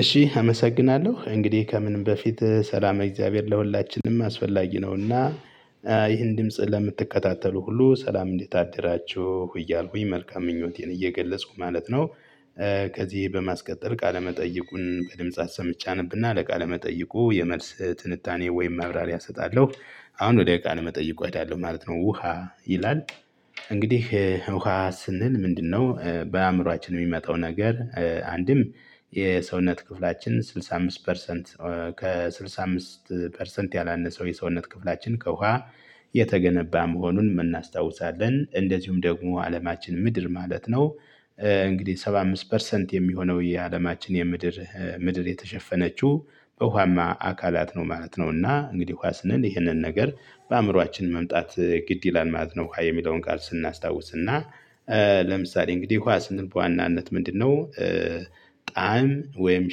እሺ አመሰግናለሁ እንግዲህ ከምንም በፊት ሰላም እግዚአብሔር ለሁላችንም አስፈላጊ ነውና ይህን ድምጽ ለምትከታተሉ ሁሉ ሰላም እንዴት አደራችሁ እያልኩኝ መልካም ምኞቴን እየገለጽኩ ማለት ነው። ከዚህ በማስቀጠል ቃለመጠይቁን በድምጽ አሰምቼ አነብና ለቃለመጠይቁ የመልስ ትንታኔ ወይም ማብራሪያ እሰጣለሁ አሁን ወደ ቃል መጠይቁ ሄዳለሁ ማለት ነው። ውሃ ይላል። እንግዲህ ውሃ ስንል ምንድነው በአእምሮአችን የሚመጣው ነገር አንድም የሰውነት ክፍላችን ስድሳ አምስት ፐርሰንት። ከስድሳ አምስት ፐርሰንት ያላነሰው የሰውነት ክፍላችን ከውሃ የተገነባ መሆኑን እናናስታውሳለን እንደዚሁም ደግሞ አለማችን ምድር ማለት ነው። እንግዲህ ሰባ አምስት ፐርሰንት የሚሆነው የአለማችን የምድር ምድር የተሸፈነችው በውሃማ አካላት ነው ማለት ነውና እንግዲህ ውሃ ስንል ይህንን ነገር በአእምሮአችን መምጣት ግድ ይላል ማለት ነው። የሚለውን ቃል ስናስታውስና ለምሳሌ እንግዲህ ውሃ ስንል በዋናነት ምንድነው? ጣዕም ወይም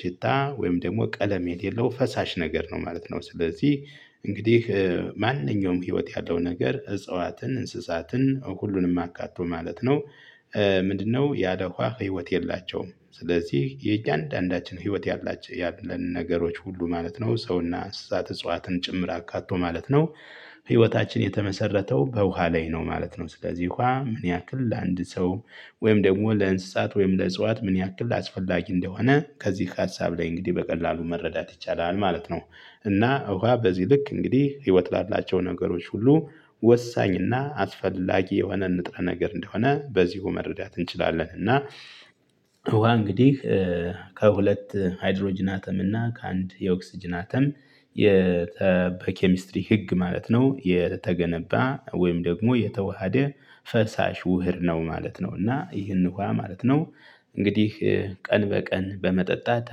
ሽታ ወይም ደግሞ ቀለም የሌለው ፈሳሽ ነገር ነው ማለት ነው። ስለዚህ እንግዲህ ማንኛውም ህይወት ያለው ነገር እጽዋትን እንስሳትን ሁሉንም አካትቶ ማለት ነው። ምንድነው ያለ ውሃ ህይወት የላቸውም። ስለዚህ የእያንዳንዳችን ህይወት ያላችሁ ያለን ነገሮች ሁሉ ማለት ነው ሰውና እንስሳት እጽዋትን ጭምር አካቶ ማለት ነው። ህይወታችን የተመሰረተው በውሃ ላይ ነው ማለት ነው። ስለዚህ ውሃ ምን ያክል ለአንድ ሰው ወይም ደግሞ ለእንስሳት ወይም ለእጽዋት ምን ያክል አስፈላጊ እንደሆነ ከዚህ ከሀሳብ ላይ እንግዲህ በቀላሉ መረዳት ይቻላል ማለት ነው። እና ውሃ በዚህ ልክ እንግዲህ ህይወት ላላቸው ነገሮች ሁሉ ወሳኝና አስፈላጊ የሆነ ንጥረ ነገር እንደሆነ በዚሁ መረዳት እንችላለን። እና ውሃ እንግዲህ ከሁለት ሃይድሮጅን አተም እና ከአንድ የኦክስጅን አተም በኬሚስትሪ ህግ ማለት ነው የተገነባ ወይም ደግሞ የተዋሃደ ፈሳሽ ውሕድ ነው ማለት ነው። እና ይህን እንኳን ማለት ነው እንግዲህ ቀን በቀን በመጠጣት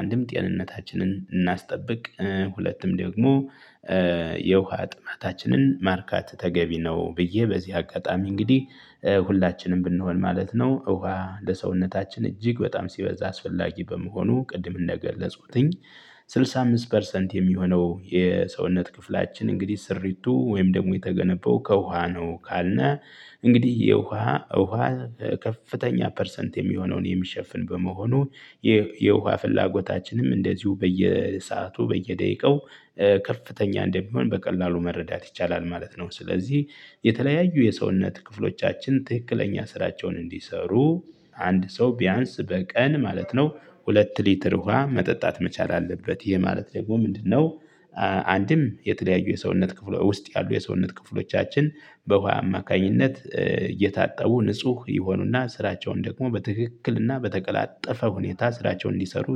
አንድም ጤንነታችንን እናስጠብቅ ሁለቱም ደግሞ የውሃ ጥማታችንን ማርካት ተገቢ ነው። ብዬ በዚህ አጋጣሚ እንግዲህ ሁላችንም ብንሆን ማለት ነው ውሃ ለሰውነታችን እጅግ በጣም ሲበዛ አስፈላጊ በመሆኑ ቅድም እንደገለጽኩትኝ ስድሳ አምስት ፐርሰንት የሚሆነው የሰውነት ክፍላችን እንግዲህ ስሪቱ ወይም ደግሞ የተገነባው ከውሃ ነው ካልነ። እንግዲህ የውሃ ውሃ ከፍተኛ ፐርሰንት የሚሆነውን የሚሸፍን በመሆኑ የውሃ ፍላጎታችንም እንደዚሁ በየሰአቱ በየደቂቃው ከፍተኛ እንደሚሆን በቀላሉ መረዳት ይቻላል ማለት ነው። ስለዚህ የተለያዩ የሰውነት ክፍሎቻችን ትክክለኛ ስራቸውን እንዲሰሩ አንድ ሰው ቢያንስ በቀን ማለት ነው ሁለት ሊትር ውሃ መጠጣት መቻል አለበት ይሄ ማለት ደግሞ ምንድነው? አንድም የተለያዩ የሰውነት ክፍል ውስጥ ያሉ የሰውነት ክፍሎቻችን በውሃ አማካኝነት እየታጠቡ ንጹህ ይሆኑና ስራቸውን ደግሞ በትክክልና በተቀላጠፈ ሁኔታ ስራቸውን እንዲሰሩ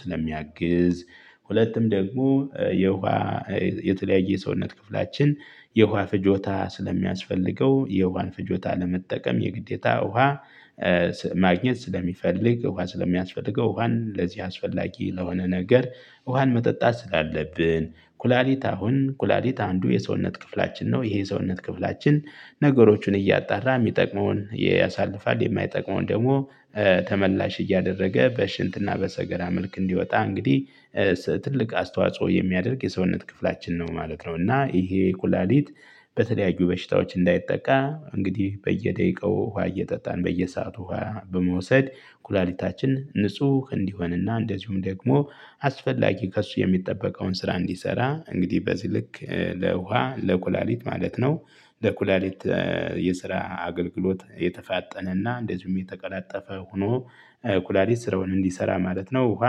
ስለሚያግዝ። ሁለቱም ደግሞ የውሃ የተለያየ ሰውነት ክፍላችን የውሃ ፍጆታ ስለሚያስፈልገው የውሃን ፍጆታ ለመጠቀም የግዴታ ውሃ ማግኘት ስለሚፈልግ ውሃ ስለሚያስፈልገው ውሃን ለዚህ አስፈላጊ ለሆነ ነገር። ውሃን መጠጣት ስላለብን። ኩላሊት አሁን ኩላሊት አንዱ የሰውነት ክፍላችን ነው ይሄ የሰውነት ክፍላችን ነገሮችን እያጣራ የሚጠቅመውን ያሳልፋል የማይጠቅመውን ደግሞ ተመላሽ እያደረገ በሽንትና በሰገራ መልክ እንዲወጣ እንግዲህ ትልቅ አስተዋጽኦ የሚያደርግ የሰውነት ክፍላችን ነው ማለት ነው። እና ይሄ ኩላሊት በተለያዩ በሽታዎች እንዳይጠቃ እንግዲህ በየደቂቃው ውሃ እየጠጣን በየሰአቱ ውሃ በመውሰድ ኩላሊታችን ንጹህ እንዲሆንና እንደዚሁም ደግሞ አስፈላጊ ከእሱ የሚጠበቀውን ስራ እንዲሰራ እንግዲህ በዚህ ልክ ለውሃ ለኩላሊት ማለት ነው። ለኩላሊት የስራ አገልግሎት የተፋጠነና እንደዚሁም የተቀላጠፈ ሆኖ ኩላሊት ስራውን እንዲሰራ ማለት ነው። ውሃ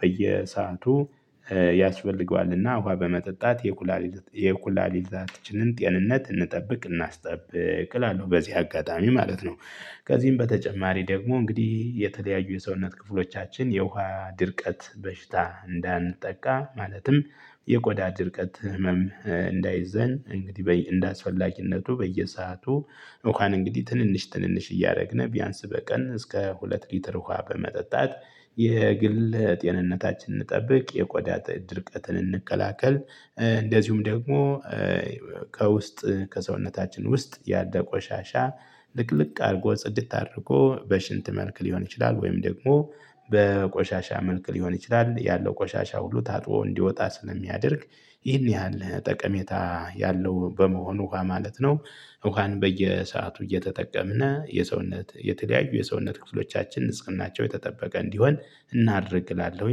በየሰአቱ ያስፈልገዋልና ውሃ በመጠጣት የኩላሊት የኩላሊታችንን ጤንነት እንጠብቅ እናስጠብቅ እላለሁ በዚህ አጋጣሚ ማለት ነው። ከዚህም በተጨማሪ ደግሞ እንግዲህ የተለያዩ የሰውነት ክፍሎቻችን የውሃ ድርቀት በሽታ እንዳንጠቃ ማለትም የቆዳ ድርቀት ህመም እንዳይዘን እንግዲህ በይ እንደ አስፈላጊነቱ በየሰአቱ። እሺ አመሰግናለሁ እንግዲህ ከምንም በፊት ሰላም እግዚአብሔር ለሁላችንም አስፈላጊ ነውና። ከውስጥ ከሰውነታችን ውስጥ ያለ ቆሻሻ ልቅልቅ አድርጎ ጽድት አድርጎ በሽንት መልክ ሊሆን ይችላል ወይም ደግሞ በቆሻሻ መልክ ሊሆን ይችላል ያለው ቆሻሻ ሁሉ ታጥቦ እንዲወጣ ስለሚያደርግ ይህን ያህል ጠቀሜታ ያለው በመሆኑ ውሃ ማለት ነው። ውሃን በየሰአቱ እየተጠቀምን የሰውነት የተለያዩ የሰውነት ክፍሎቻችን ንጽህናቸው የተጠበቀ እንዲሆን እናድርግ እላለሁ።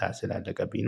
ሰዓት ስላለቀብኝ